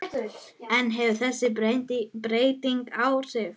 En hefur þessi breyting áhrif?